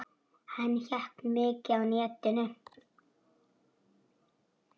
Hann hékk mikið á netinu.